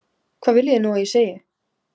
Hvað viljið þið nú að ég segi?